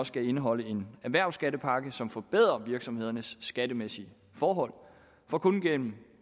skal indeholde en erhvervsskattepakke som forbedrer virksomhedernes skattemæssige forhold for kun gennem